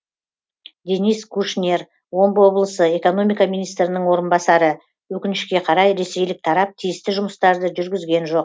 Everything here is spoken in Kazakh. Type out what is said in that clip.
денис кушнер омбы облысы экономика министрінің орынбасары өкінішке қарай ресейлік тарап тиісті жұмыстарды жүргізген жоқ